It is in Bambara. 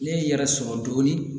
Ne ye n yɛrɛ sɔrɔ dɔɔnin